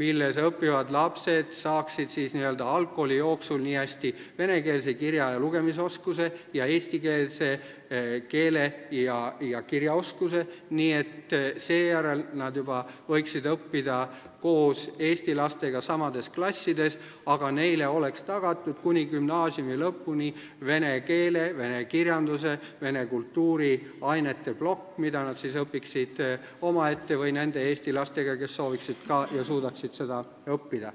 milles õppivad lapsed saaksid n-ö algkooli jooksul niihästi venekeelse kirja- ja lugemisoskuse kui ka eestikeelse keele- ja kirjaoskuse, nii et nad võiksid seejärel õppida juba koos eesti lastega samas klassis, aga neile oleks tagatud kuni gümnaasiumi lõpuni vene keele, vene kirjanduse, vene kultuuri ainete plokk, mida nad õpiksid omaette või nende eesti lastega, kes sooviksid ja suudaksid ka seda õppida.